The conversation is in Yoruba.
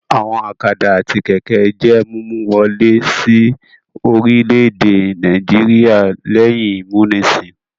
Àwọn ọ̀kadà àti kẹ̀kẹ́ jẹ́ mímú wọlé sí orílẹ̀-èdè Nàìjíríà lẹ́yìn ìmúnisìn.